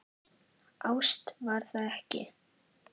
Ást var það ekki.